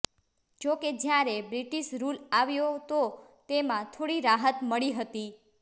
જો કે જ્યારે બ્રિટિશ રૂલ આવ્યો તો તેમાં થોડી રાહત મળી હતી